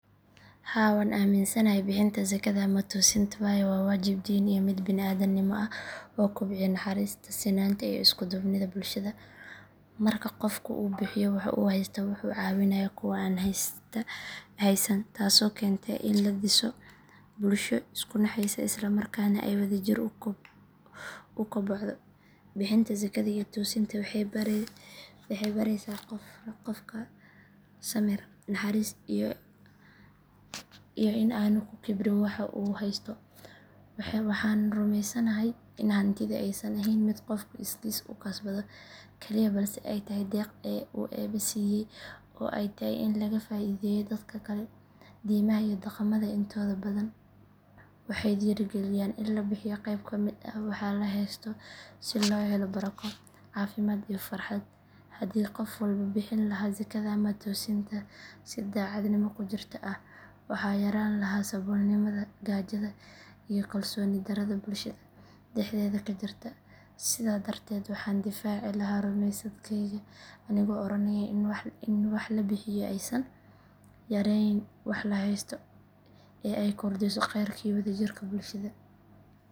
Haa waan aaminsanahay bixinta zakada ama toosinta waayo waa waajib diin iyo mid bini’aadannimo ah oo kobciya naxariista, sinaanta iyo isku duubnida bulshada. Marka qofku bixiyo wax uu heysto wuxuu caawinayaa kuwa aan haysan taasoo keenta in la dhiso bulsho isu naxaysa isla markaana ay wadajir u kobocdo. Bixinta zakada iyo toosinta waxay baraysaa qofka samir, naxariis iyo in aanu ku kibrin waxa uu haysto. Waxaan rumaysanahay in hantidu aysan ahayn mid qofku iskiis u kasbado kaliya balse ay tahay deeq uu Eebbe siiyay oo ay tahay in laga faa’iideeyo dadka kale. Diimaha iyo dhaqamada intooda badan waxay dhiirigeliyaan in la bixiyo qayb ka mid ah waxa la heysto si loo helo barako, caafimaad iyo farxad. Haddii qof walba bixin lahaa zakada ama toosinta si daacadnimo ku jirto ah, waxaa yaraan lahaa saboolnimada, gaajada iyo kalsooni darrada bulshada dhexdeeda ka jirta. Sidaa darteed waxaan difaaci lahaa rumaysadkayga anigoo oranaya in wax la bixiyo aysan yareynayn waxa la haysto ee ay kordhiso kheyrka iyo wadajirka bulshada.